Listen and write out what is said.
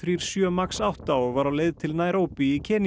sjö Max átta og var á leið til Naíróbí í